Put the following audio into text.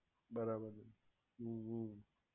બરાબર છે હમ્મ હમ્મ